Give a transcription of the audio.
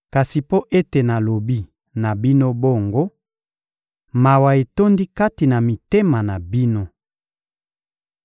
Kasi mpo ete nalobi na bino bongo, mawa etondi kati na mitema na bino.